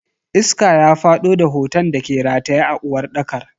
Iska ya fado da hoton dake rataye a uwarɗakar.